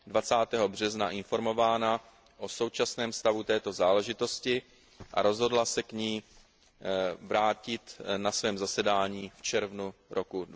20. března informována o současném stavu této záležitosti a rozhodla se k ní vrátit na svém zasedání v červnu roku